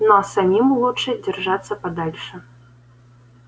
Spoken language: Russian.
но самим лучше держаться подальше